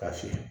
Ka se